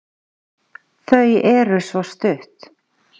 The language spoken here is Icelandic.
Þau eru svo stutt.